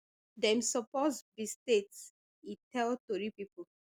dem suppose be state e tell tori pipo